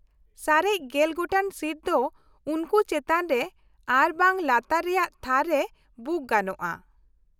ᱥᱟᱨᱮᱡ ᱜᱮᱞ ᱜᱚᱴᱟᱝ ᱥᱤᱴ ᱫᱚ ᱩᱱᱠᱩ ᱪᱮᱛᱟᱱ ᱨᱮ ᱟᱨ ᱵᱟᱝ ᱞᱟᱛᱟᱨ ᱨᱮᱭᱟᱜ ᱛᱷᱟᱨ ᱨᱮ ᱵᱩᱠ ᱜᱟᱱᱳᱜᱼᱟ ᱾